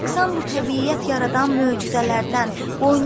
Rəqsan bu təbiət yaradan möcüzələrdən.